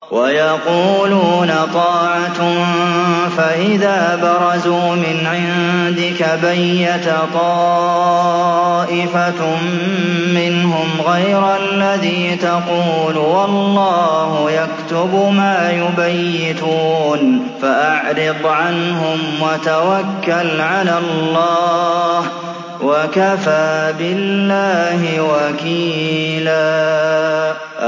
وَيَقُولُونَ طَاعَةٌ فَإِذَا بَرَزُوا مِنْ عِندِكَ بَيَّتَ طَائِفَةٌ مِّنْهُمْ غَيْرَ الَّذِي تَقُولُ ۖ وَاللَّهُ يَكْتُبُ مَا يُبَيِّتُونَ ۖ فَأَعْرِضْ عَنْهُمْ وَتَوَكَّلْ عَلَى اللَّهِ ۚ وَكَفَىٰ بِاللَّهِ وَكِيلًا